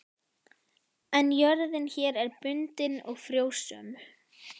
En jörðin hér er bundin og frjósöm.